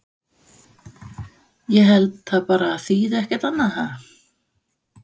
Ég held að það bara þýði ekkert annað, ha?